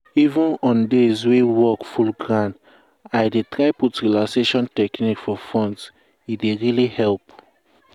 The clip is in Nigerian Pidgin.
even on days wey work full ground i dey try put relaxation technique for front e dey really help.